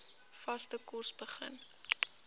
vaste kos begin